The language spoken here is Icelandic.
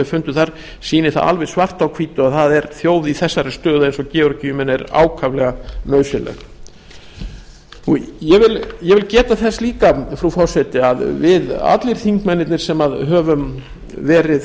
fundu þar sýni það alveg svart á hvítu að það er þjóð í þessari stöðu eins og georgía er í ákaflega nauðsynleg ég vil geta þess að við allir þingmennirnir sem höfum verið virk